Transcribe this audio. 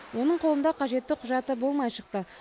оның қолында қажетті құжаты болмай шықты